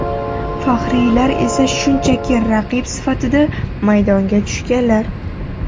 Faxriylar esa shunchaki raqib sifatida, maydonga tushganlar.